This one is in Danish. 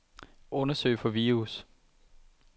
Undersøg for virus.